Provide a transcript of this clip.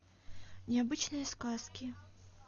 необычные сказки